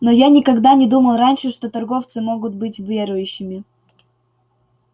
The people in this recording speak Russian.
но я никогда не думал раньше что торговцы могут быть верующими